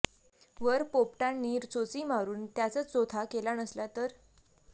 वर पोपटांनी चोची मारून त्याच चोथा केला नसला तर